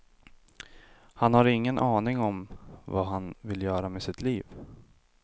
Han har ingen aning om vad han vill göra med sitt liv.